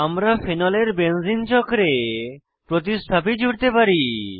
আমরা ফেনলের বেঞ্জিন চক্রে প্রতিস্থাপী জুড়তে পারি